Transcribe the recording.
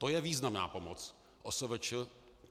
To je významná pomoc OSVČ!